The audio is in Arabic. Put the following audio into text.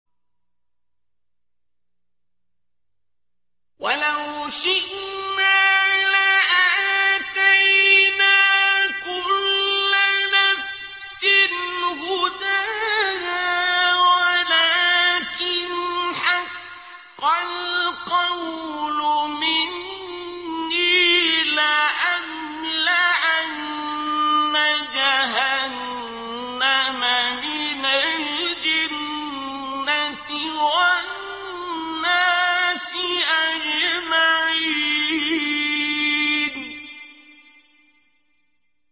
وَلَوْ شِئْنَا لَآتَيْنَا كُلَّ نَفْسٍ هُدَاهَا وَلَٰكِنْ حَقَّ الْقَوْلُ مِنِّي لَأَمْلَأَنَّ جَهَنَّمَ مِنَ الْجِنَّةِ وَالنَّاسِ أَجْمَعِينَ